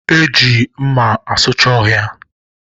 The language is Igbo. E ji mma asucha ọhịa